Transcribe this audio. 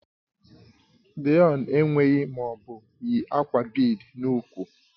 Deon enweghị ma ọ bụ yi akwa bead n'úkwù